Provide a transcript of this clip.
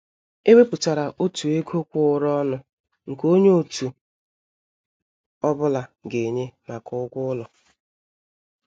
È wépụtárà ọ̀tụ̀ égò kwụ̀ụrụ̀ ọnụ nke ònye òtù ọ́bụ̀la ga-ènyé maka ụ́gwọ́ ụlọ.